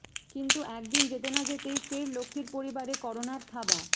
কিন্তু একদিন যেতে না যেতেই ফের লক্ষ্মীর পরিবারে করোনার থাবা